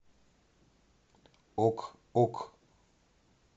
ок ок